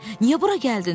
Niyə bura gəldin?